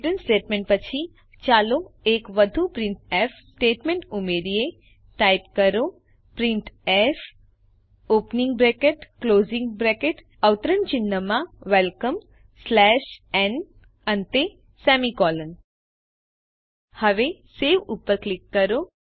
return statement પછી ચાલો એક વધુ પ્રિન્ટફ સ્ટેટમેન્ટ ઉમેરીએ ટાઇપ કરો printfવેલકમ ન હવે સવે ઉપર ક્લિક કરો